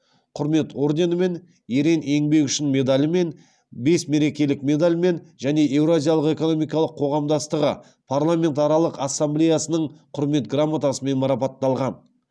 құрмет орденімен ерен еңбегі үшін медалімен бес мерекелік медальмен және еуразиялық экономикалық қоғамдастығы парламентаралық ассамблеясының құрмет грамотасымен марапатталған